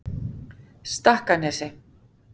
Stakkanesi